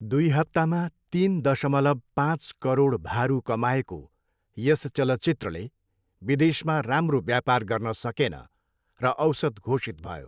दुई हप्तामा तिन दशमलव पाँच करोड भारु कमाएको यस चलचित्रले विदेशमा राम्रो व्यापार गर्न सकेन र औसत घोषित भयो।